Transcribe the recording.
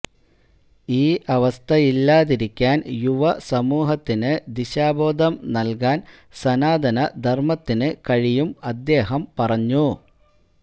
ഈ അവസ്ഥയില്ലാതിരിയ്ക്കാന് യുവസമൂഹത്തിന് ദിശാബോധം നല്കാന് സനാതനധര്മ്മത്തിന് കഴിയും അദ്ദേഹം പറഞ്ഞു